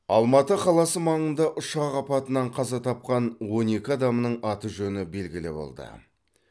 алматы қаласы маңында ұшақ апатынан қаза тапқан он екі адамның аты жөні белгілі болды